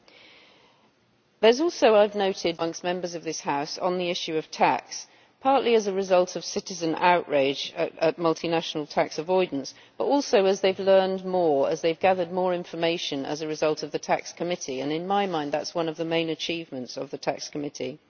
There has also, I have noted, been quite a lot of movement amongst Members of this House on the issue of tax, partly as a result of citizen outrage at multinational tax avoidance, but also as they have learned more as they have gathered more information as a result of the TAXE Committee and in my mind that is one of the main achievements of the TAXE Committee.